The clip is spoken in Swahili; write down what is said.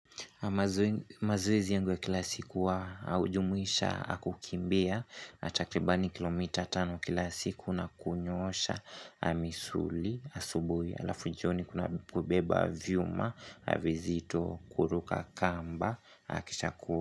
Mazoezi yangu ya kila siku wa ujumuisha kukimbia takribani kilomita tano kila siku na kunyoosha misuli asubui alafu jioni kuna kubeba vyuma vizito kuruka kamba kisha.